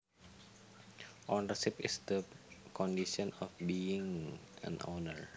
Ownership is the condition of being an owner